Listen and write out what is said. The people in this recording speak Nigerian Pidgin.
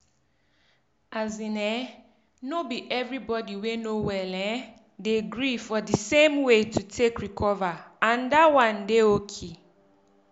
as in eh no be everybody wey no well erm dey gree for di same way to take recover and dat one dey oki.